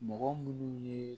Mɔgɔ munnu ye